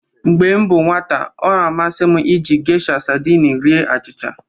Mgbe m bụ nwata, ọ na-amasị m iji Gesha sadini rie achịcha.